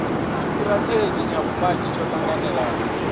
tshitirathedzhi tsha vhumagi tsho tanganelaho